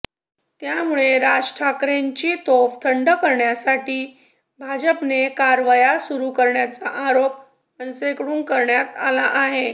त्यामुळे राज ठाकरेंची तोफ थंड करण्यासाठी भाजपने कारवाया सुरू केल्याचा आरोप मनसेकडून करण्यात आला आहे